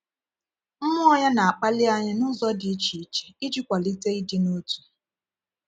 Mmụọ Ya na-akpali anyị n’ụzọ dị iche iche iji kwalite ịdị n’otu.